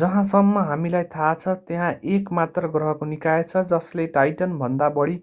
जहाँसम्म हामीलाई थाहा छ त्यहाँ एक मात्र ग्रहको निकाय छ जसले टाइटनभन्दा बढी